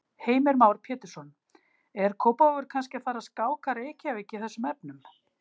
Heimir Már Pétursson: Er Kópavogur kannski að fara að skáka Reykjavík í þessum efnum?